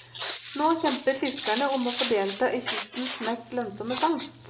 Nå kjemper fiskerne om å få delta i kystens mest lønnsomme fangst.